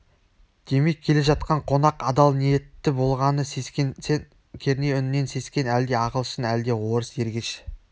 демек келе жатқан қонақ адал ниетті болғаны сескенсең керней үнінен сескен әлде ағылшын әлде орыс ергеш